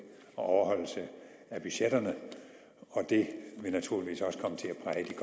og overholdelse af budgetterne og det vil naturligvis også komme til